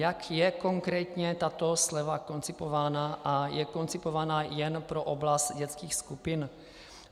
Jak je konkrétně tato sleva koncipována a je koncipována jen pro oblast dětských skupin?